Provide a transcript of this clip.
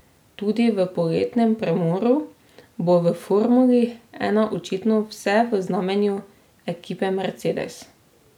Tudi po poletnem premoru bo v formuli ena očitno vse v znamenju ekipe Mercedes.